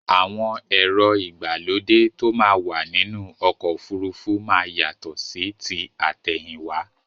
Àwọn èrò igbálódẹ̀ tó mà wà nínu ọ̀kọ̀ ofúrúfú má yátọ̀ sí tí atẹ̀hìnwa